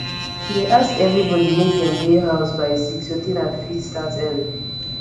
she dey ask everybodi mek dem dey house by six so dinner fit start early